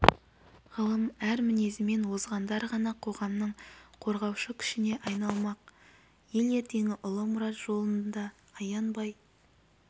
ғылым ар мінезімен озғандар ғана қоғамның қозғаушы күшіне айналмақ ел ертеңі ұлы мұрат жолында аянбай